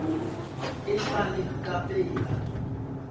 e sa le ka pela